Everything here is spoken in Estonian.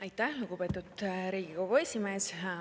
Aitäh, lugupeetud Riigikogu esimees!